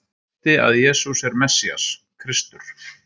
Hún birti að Jesús er Messías, Kristur.